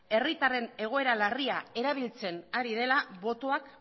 herritarren egoera larria erabiltzen ari dela botoak